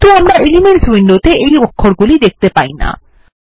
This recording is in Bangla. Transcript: কিন্তু আমরা এলিমেন্টস উইন্ডোত়ে এই অক্ষরগুলি দেখতে পাইনা